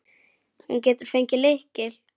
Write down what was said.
Hún getur fengið lykil.